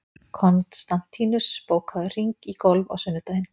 Konstantínus, bókaðu hring í golf á sunnudaginn.